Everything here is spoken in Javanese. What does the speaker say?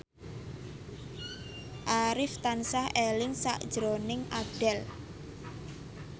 Arif tansah eling sakjroning Abdel